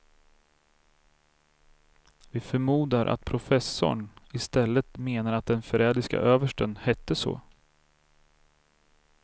Vi förmodar att professorn i stället menar att den förrädiske översten hette så.